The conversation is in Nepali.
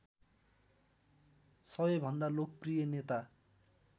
सबैभन्दा लोकप्रिय नेता